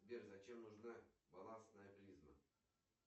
сбер зачем нужна баластная призма